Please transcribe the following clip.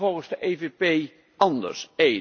Wat moet er volgens de EVP anders?